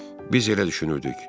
Biz elə düşünürdük.